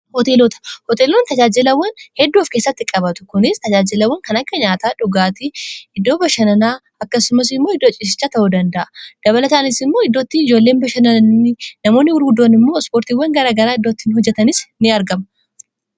hooteelota hoteeloonni tajaajilawwan heddooof keessatti qabatu kunis tajaajilawwan kan akka nyaataa dhugaatii iddoo bashananaa akkasumasi mmoo iddo cisichaa ta'uu danda'a dabala taaniis immoo iddootti ijoolleen bashananii namoonni gurguddoon immoo ispoortiiwan garagaraa iddoottiin hojjatanis in argama